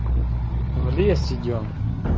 в лес идём